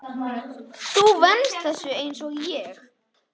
Þú venst þessu einsog ég.